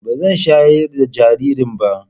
Ba zan shayar da jaririn ba